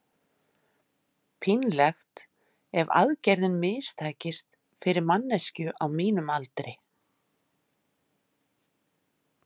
Pínlegt ef aðgerðin mistækist, fyrir manneskju á mínum aldri.